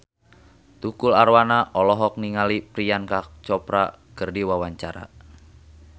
Tukul Arwana olohok ningali Priyanka Chopra keur diwawancara